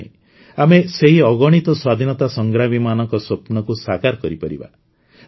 ତେବେ ଯାଇଁ ଆମେ ସେହି ଅଗଣିତ ସ୍ୱାଧୀନତା ସଂଗ୍ରାମୀମାନଙ୍କ ସ୍ୱପ୍ନକୁ ସାକାର କରିପାରିବା